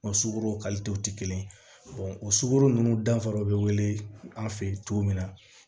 O sukoro ti kelen ye o sukoro nunnu danfara be wele an feyi cogo min na